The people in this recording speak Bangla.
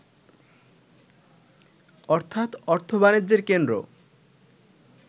অর্থাৎ অর্থ-বাণিজ্যের কেন্দ্র